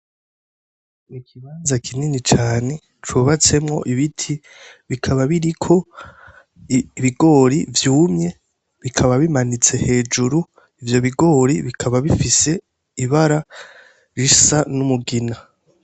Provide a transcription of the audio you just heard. Ikibanza kinini cane cubatsemwo ibiti bikaba biriko ibigori vyumye bikaba bimanitse hejuru, ivyo bigori bikaba bifise ibara risa n' umugina.